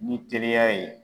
Ni teliya ye.